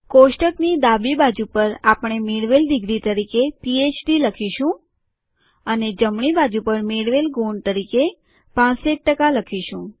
કોષ્ટકની ડાબી બાજુ પર આપણે મેળવેલ ડિગ્રી તરીકે પીએચડી લખીશું અને જમણી બાજુ પર મેળવેલ ગુણ તરીકે ૬૫ લખીશું